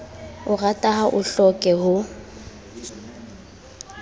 otara ha o hloke ho